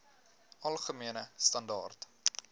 algemene standaar